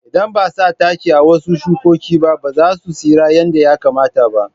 Idan ba a sa taki a wasu shukoki ba, ba za su tsira yadda ya kamata ba.